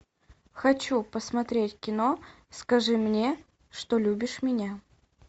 хочу посмотреть кино скажи мне что любишь меня